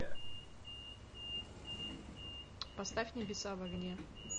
поставь небеса в огне